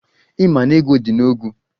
Ị maa n'ego di n'ọgwu?